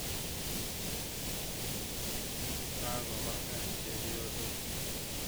Kakopa kaa chepyosok